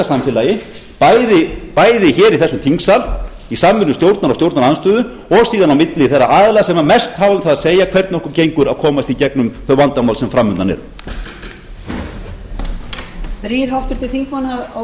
samfélagi bæði hér í þessum þingsal í samvinnu stjórnar og stjórnarandstöðu og síðan á milli þeirra aðila sem mest hafa hjá það að segja hvernig okkur gengur að komast í gegnum þau vandamál sem fram undan eru